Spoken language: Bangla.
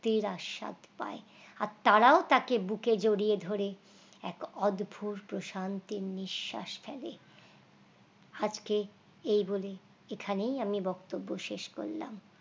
মুক্তির আস্বাদ ভাই আর তারাও তাকে বুকে জড়িয়ে ধরে এক অদভুত প্রশান্তির নিশ্বাস ফেলে আজকে এই বলে এখানেই আমি বক্তব্য শেষ করলাম